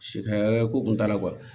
Si ka hakɛ ko tun t'a la